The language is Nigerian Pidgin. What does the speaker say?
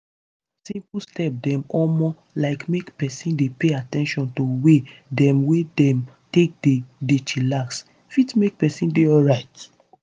simple step dem omo like make peson dey pay at ten tion to way dem wey dem take dey dey chillax fit make peson dey alrite.